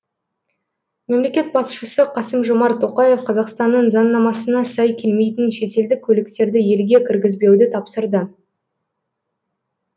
мемлекет басшысы қасым жомарт тоқаев қазақстанның заңнамасына сай келмейтін шетелдік көліктерді елге кіргізбеуді тапсырды